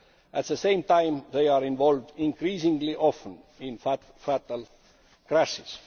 At the same time, they are involved increasingly often in fatal crashes.